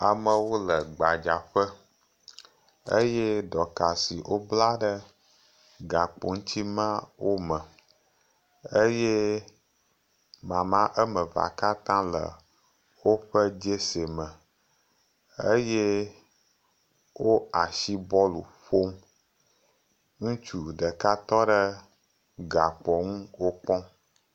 Amewo le gba ƒe eye dɔka siwo bla ɖe gakpo siwo bla ɖe wo ŋuti la ma ɖe wo me eye wo asi bɔl ƒom eye ŋutsu ɖeka tɔ ɖe gakpoa ŋu wokpɔm.